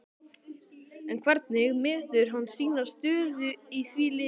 En hvernig metur hann sína stöðu í því liði?